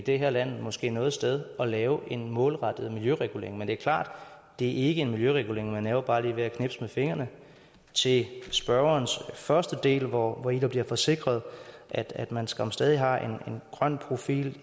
det her land måske noget sted at lave en målrettet miljøregulering men det er klart at det ikke er en miljøregulering man laver bare lige ved at knipse med fingrene til spørgerens første del hvori der bliver forsikret at at man skam stadig har en grøn profil